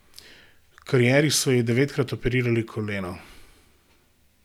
V karieri so ji devetkrat operirali koleno.